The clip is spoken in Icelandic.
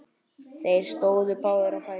Þeir stóðu báðir á fætur.